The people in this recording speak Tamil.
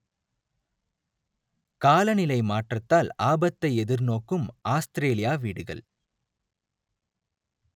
காலநிலை மாற்றத்தால் ஆபத்தை எதிர்நோக்கும் ஆஸ்திரேலியா வீடுகள்